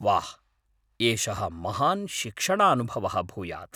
वाह्! एषः महान् शिक्षणानुभवः भूयात्।